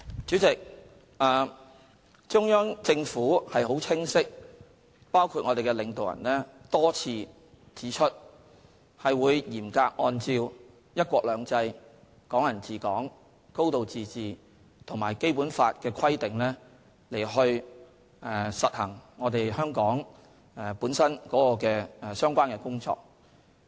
主席，中央政府和我們的領導人多次清晰指出，會嚴格按照"一國兩制"、"港人治港"、"高度自治"及《基本法》的規定，讓香港處理本身的相關工作。